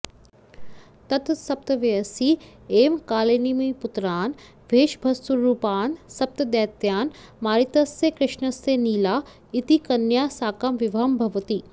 तत्सप्तवयसि एव कालनेमिपुत्रान् वेषभस्वरूपान् सप्तदैत्यान् मारितस्य कृष्णस्य नीला इति कन्यया साकं विवाहं भवति